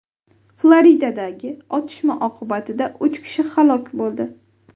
Floridadagi otishma oqibatida uch kishi halok bo‘ldi.